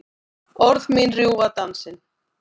Orð mín rjúfa dansinn.